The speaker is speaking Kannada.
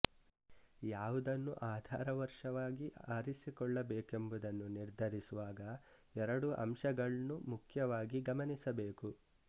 ಯಾವುದನ್ನು ಆಧಾರ ವರ್ಷವಾಗಿ ಆರಿಸಿಕೊಳ್ಳಬೇಕೆಂಬುದನ್ನು ನಿರ್ಧರಿಸುವಾಗ ಎರಡು ಅಂಶಗಳ್ನು ಮುಖ್ಯವಾಗಿ ಗಮನಿಸಬೇಕು